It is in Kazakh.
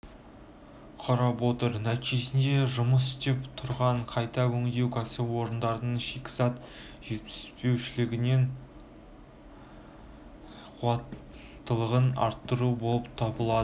құрап отыр нәтижесінде жұмыс істеп тұрған қайта өңдеу кәсіпорындарының шикізат жетіспеушіліген қуаттылығын арттыру болып табылады